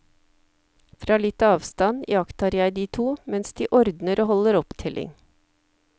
Fra litt avstand iakttar jeg de to mens de ordner og holder opptelling.